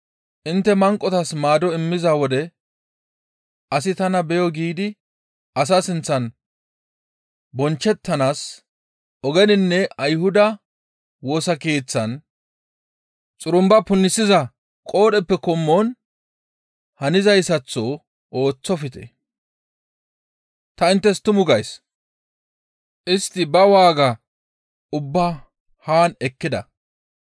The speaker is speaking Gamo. Intte manqotas maado immiza wode asi tana beyo giidi asa sinththan bonchchettanaas ogeninne Ayhuda Woosa Keeththan xurumba punisiza qoodheppe qommon hanizaytaththo ooththofte. Ta inttes tumu gays; istti ba waaga ubbaa haan ekkida.